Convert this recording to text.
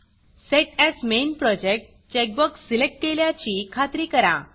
set as main Projectसेट as main project checkbox select केल्याची खात्री करा